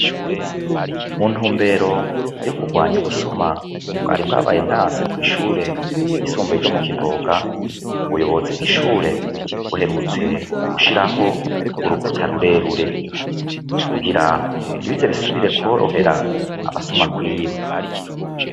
Muntumbero yo kurwanya ubusuma bwari bwabaye ndanse kw'ishure ryisumbuye ryo mu Kivoga ubuyobozi bw'ishure buherutse gushiraho urukuta rurerure kugirango ntibize bisubire korohera abasuma kwiba.